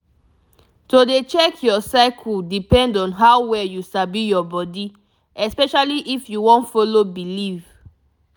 to dey check your cycle depend on how well you sabi your body especially if you wan follow belief